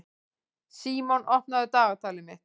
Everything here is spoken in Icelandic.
Símon, opnaðu dagatalið mitt.